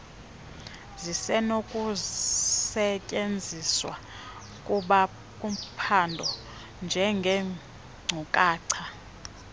zisenokusetyenziswa kuphando njengeenkcukacha